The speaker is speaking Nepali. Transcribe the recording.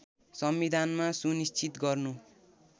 संविधानमा सुनिश्चित गर्नु